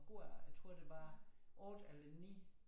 Gårde jeg tror det var 8 eller 9